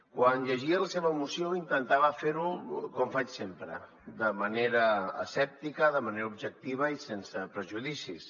quan llegia la seva moció intentava fer·ho com faig sempre de manera escèp·tica de manera objectiva i sense prejudicis